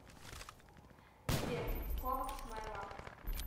сбер ковакс май лав